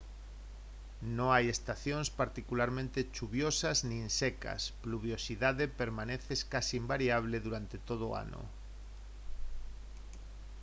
no hai estacións particularmente chuviosas nin secas pluviosidade permaneces case invariable durante todo o ano